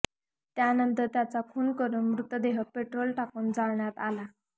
त्यानंतर त्यांचा खून करून मृतदेह पेट्रोल टाकून जाळण्यात आला